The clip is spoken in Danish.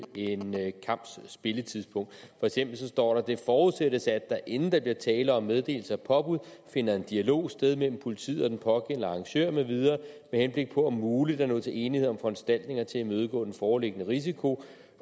en kamps spilletidspunkt for eksempel står der det forudsættes at der inden der bliver tale om meddelelse af påbud finder en dialog sted mellem politiet og den pågældende arrangør med videre med henblik på om muligt at nå til enighed om foranstaltninger til at imødegå den foreliggende risiko